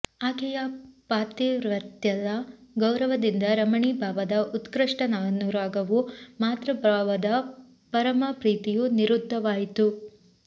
ಆಕೆಯ ಪಾತಿವ್ರತ್ಯದ ಗೌರವದಿಂದ ರಮಣೀಭಾವದ ಉತ್ಕೃಷ್ಟಾನುರಾಗವೂ ಮಾತೃಭಾವದ ಪರಮ ಪ್ರೀತಿಯೂ ನಿರುದ್ಧವಾಯಿತು